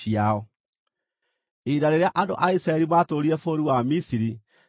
Ihinda rĩrĩa andũ a Isiraeli maatũũrire bũrũri wa Misiri nĩ mĩaka 430.